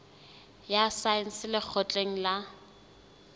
ya saense ya lekgotleng la